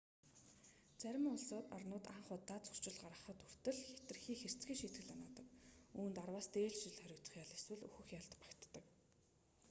зарим улс орнууд анх удаа зөрчил гаргахад хүртэл хэтэрхий хэрцгий шийтгэл оноодог үүнд 10-аас дээш жилийн хоригдох ял эсвэл үхэх ял багтдаг